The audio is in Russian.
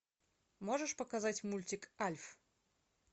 можешь показать мультик альф